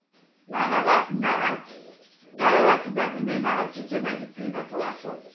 нан аласың мынаған дәрі аласың ба білмейм анау жете ма жетпей ма сол ақшаң